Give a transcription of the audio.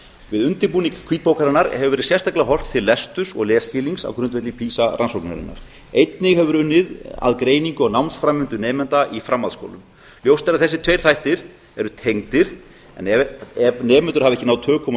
við undirbúning hvítbókarinnar hefur verið sérstaklega horft til lesturs og lesskilnings á grundvelli pisa rannsóknarinnar einnig hefur verið unnið að greiningu á námsframvindu nemenda í framhaldsskólum ljóst er að þessir tveir þættir eru tengdir en ef nemendur hafa ekki náð tökum á